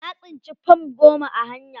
Na tsinci fam goma a hanya.